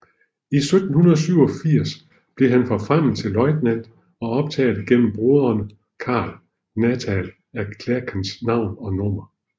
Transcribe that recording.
I 1787 blev han forfremmet til løjtnant og optaget gennem broderen Karl Nathanael af Klerckers navn og nummer